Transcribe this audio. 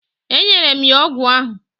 E nyere m ya ọgwụ ahụ.